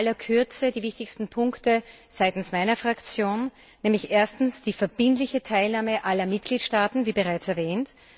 In aller Kürze die wichtigsten Punkte seitens meiner Fraktion erstens die verbindliche Teilnahme aller Mitgliedstaaten, wie bereits erwähnt